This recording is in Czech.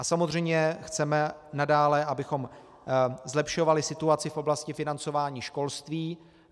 A samozřejmě chceme nadále, abychom zlepšovali situaci v oblasti financování školství.